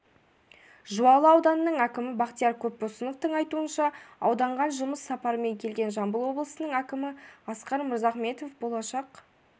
жуалы ауданының әкімі бақтияр көпбосыновтың айтуынша ауданған жұмыс сапарымен келген жамбыл облысының әкімі асқар мырзахметов болашақ